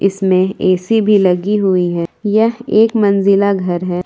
इसमें ए_सी भी लगी हुई है यह एक मंजिला घर है।